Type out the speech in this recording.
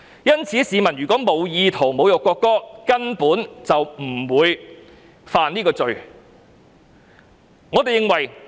因此，市民如無意圖侮辱國歌，根本不會犯罪。